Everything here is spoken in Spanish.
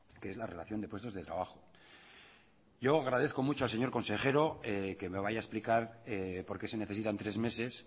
que es la relación de puestos de trabajo yo agradezco mucho al señor consejero que me vaya a explicar por qué se necesitan tres meses